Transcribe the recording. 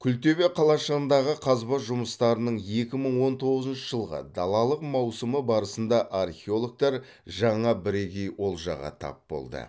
күлтөбе қалашығындағы қазба жұмыстарының екі мың он тоғызыншы жылғы далалық маусымы барысында археологтар жаңа бірегей олжаға тап болды